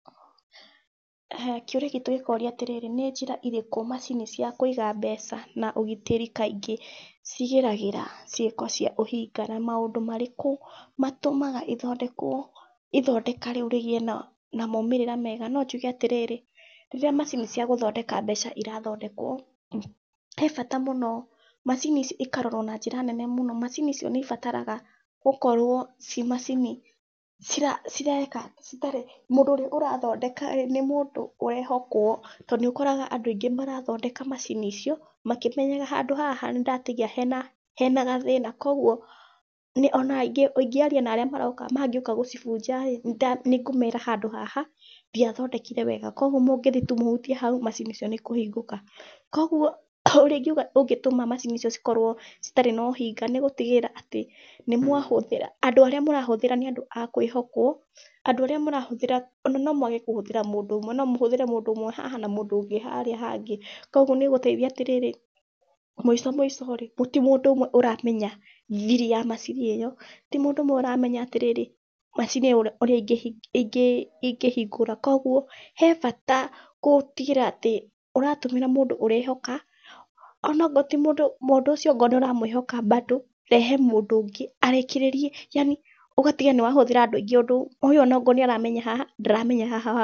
Kĩũria gitũ gĩkoria atĩrĩrĩ nĩ njĩra irĩkũ macini cia kũiga mbeca na ũgitĩri kaingĩ cigiragĩra ciĩko cia ũhinga. Na maũndũ marĩkũ matũmaga ĩthondekwo, ithondeka rĩu rĩgĩe na moimĩrĩro mega. No njuge atĩrĩrĩ, rĩrĩa macini cia gũthondeka mbeca irathondekwo, he bata mũnne mũno macini icio ikarorwo na njĩra nene mũno. Macini icio nĩ ibataraga gũkorwo ci macini, cireka citarĩ, mũndũ ũrĩa ũrathondeka rĩ, nĩ mũndũ ũrehokwo. Tondũ nĩ ũkoraga andũ aingĩ marathondeka macini icio makĩmenyaga handũ haha nĩ ndatigia hena, hena gathĩna. Koguo nĩ ona ingĩaria na arĩa mangĩũka gũcibunja rĩ, nĩ ngũmera handũ haha ndiathondekire wega, koguo mũngĩthiĩ tu mũhutie hau macini icio nĩ ikũhingũka. Koguo ũrĩa ingiuga ũngĩtũma macini icio cikorwo citarĩ na ũhinga, nĩ gũtigĩrĩra atĩ nĩ mwahũthĩra andũ arĩa mũrahũthĩra nĩ a kwĩhokwo, andũ arĩa mũrahũthĩra ona no mwage kũhũthĩra mũndũ ũmwe, no mũhũthĩra mũndũ ũmwe haha na mũndũ ũngĩ harĩa hangĩ. Koguo nĩ ĩgũteithia na atĩrĩrĩ mũico mũico rĩ, ti mũndũ ũmwe ũramenya thiri ya macini ĩyo, ti mũndũ ũmwe ũramenya atĩrĩrĩ macini ĩyo ũrĩa ingĩhingũra. Koguo he bata gũtigĩrĩra atĩ ũratumĩra mũndũ ũrehoka, onongorwo mũndũ ũcio ndũramwĩhoka bado, rehe mũndũ ũngĩ arĩkĩrĩrie yaani ũgatigĩrĩra nĩ wahũthĩra andũ aingĩ ũndũ o ũyũ ona okorwo nĩ aramenya haha, ndaramenya haha hangĩ.